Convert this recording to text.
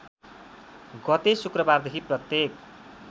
गते शुक्रबारदेखि प्रत्येक